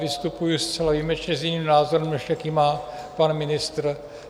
Vystupuji zcela výjimečně s jiným názorem, než jaký má pan ministr.